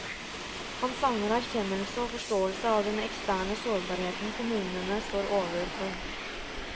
Han savner erkjennelse og forståelse av den eksterne sårbarheten kommunene står overfor.